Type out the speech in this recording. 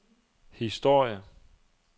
historie